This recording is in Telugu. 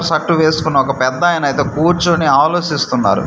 షర్ట్ వేసుకున్న ఒక పెద్దాయన అయితే కూర్చొని ఆలోసిస్తున్నారు.